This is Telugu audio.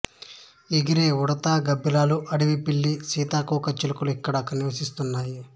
ఎగిరే ఉడుత గబ్బిలాలు అడవి పిల్లి సీతాకోక చిలుకలు ఇక్కడ నివసిస్తున్నాయి